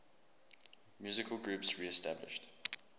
musical groups reestablished